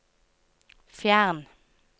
fjern